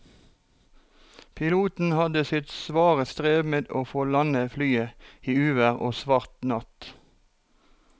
Piloten hadde sitt svare strev med å få landet flyet i uvær og svart natt.